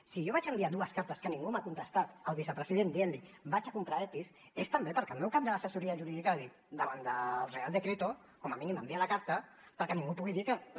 si jo vaig enviar dues cartes que ningú m’ha contestat al vicepresident on hi deia vaig a comprar epis és també perquè el meu cap de l’assessoria jurídica va dir davant del real decreto com a mínim envia la carta perquè ningú pugui dir que les